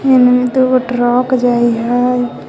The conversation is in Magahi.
एने दुगो ट्रॅक जाई हई।